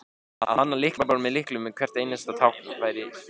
að hanna lyklaborð með lyklum fyrir hvert einasta tákn væri fásinna